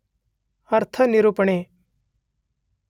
ಅರ್ಥನಿರೂಪಣೆ